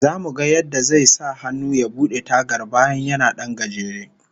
Zamu ga yadda zai sahannu ya bude tagar, bayan yana dan gajere